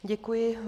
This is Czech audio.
Děkuji.